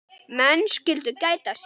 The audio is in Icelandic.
Menn skyldu gæta sín.